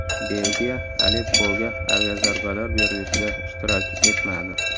Belgiya Aleppoga aviazarbalar berilishida ishtirok etmadi.